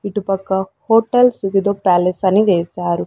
ఇటుపక్క హోటల్స్ ఇదేదో ప్యాలెస్ అని వేశారు.